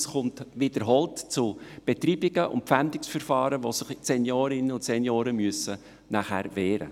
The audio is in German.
Es kommt wiederholt zu Betreibungen und Verpfändungsverfahren, in welchen sich Seniorinnen und Senioren wehren müssen.